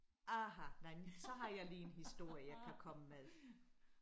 Aha nej så har jeg lige en historie jeg kan komme med